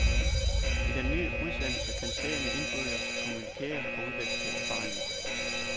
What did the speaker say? I den ny udsendelse kan seerne indbyrdes kommunikere og udveksle erfaringer.